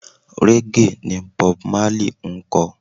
Raggae ni Bob Marley ń kọ.